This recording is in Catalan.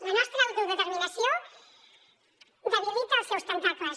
la nostra autodeterminació debilita els seus tentacles